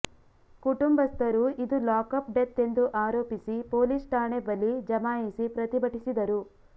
ಕುಟುಂಬಸ್ಥರು ಇದು lockup death ಎಂದು ಆರೊಪಿಸಿ ಪೊಲೀಸ್ ಠಾಣೆ ಬಲಿ ಜಮಾಯಿಸಿ ಪ್ರತಿಭಟಿಸಿದರು